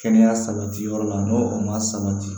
Kɛnɛya sabati yɔrɔ la n'o o ma sabati